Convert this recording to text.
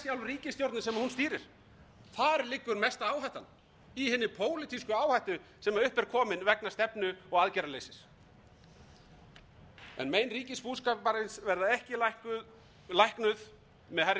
hún stýrir þar liggur mesta áhættan í hinni pólitísku áhættu sem upp er komin vegna stefnu og aðgerðaleysis mein ríkisbúskaparins verða ekki læknuð með hærri